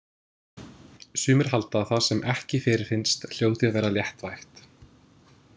Sumir halda að það sem ekki fyrirfinnst hljóti að vera léttvægt.